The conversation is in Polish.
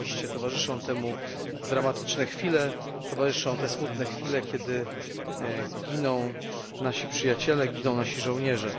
Rzeczywiście towarzyszą temu dramatyczne chwile, towarzyszą smutne chwile, kiedy giną nasi przyjaciele, giną nasi żołnierze.